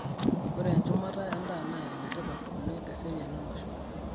Ore enchumata endaa naa enetipat oleng teseriani olosho.